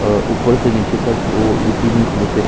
और ऊपर से नीचे तक ओ इसी में कुर्ते--